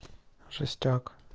жестяк